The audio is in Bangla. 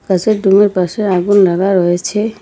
কাঁচের ডোমের পাশে আগুন লাগা রয়েছে।